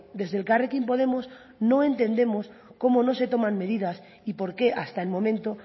desde elkarrekin podemos no entendemos cómo no se toman medidas y por qué hasta el momento